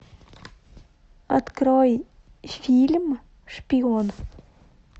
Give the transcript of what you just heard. открой фильм шпион